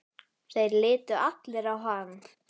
Þeir litu allir á hann.